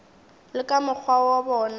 le ka mokgwa wo ba